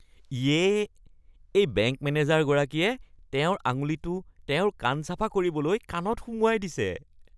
ইয়ে, এই বেংক মেনেজাৰগৰাকীয়ে তেওঁৰ আঙুলিটো তেওঁৰ কাণ চাফা কৰিবলৈ কাণত সুমুৱাই দিছে।